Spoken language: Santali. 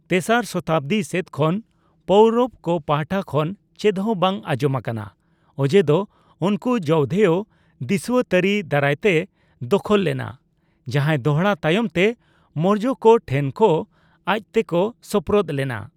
ᱛᱮᱥᱟᱨ ᱥᱚᱛᱟᱵᱽᱫᱤ ᱥᱮᱫ ᱠᱷᱚᱱ ᱯᱳᱣᱨᱚᱵᱽ ᱠᱚ ᱯᱟᱦᱴᱟ ᱠᱷᱚᱱ ᱪᱮᱫᱦᱚᱸ ᱵᱟᱝ ᱟᱸᱡᱚᱢ ᱟᱠᱟᱱᱟ, ᱚᱡᱮᱫᱚ ᱩᱱᱠᱩ ᱡᱳᱣᱫᱷᱮᱭᱚ ᱫᱤᱥᱩᱣᱟᱹ ᱛᱟᱹᱨᱤ ᱫᱟᱨᱟᱭᱛᱮ ᱫᱚᱠᱷᱚᱞ ᱞᱮᱱᱟ, ᱡᱟᱦᱟᱭ ᱫᱚᱲᱦᱟ ᱛᱟᱭᱚᱢᱛᱮ ᱢᱳᱨᱡᱚᱠᱚ ᱴᱷᱮᱱ ᱠᱚ ᱟᱡᱛᱮᱠᱚ ᱥᱳᱯᱨᱳᱫ ᱞᱮᱱᱟ ᱾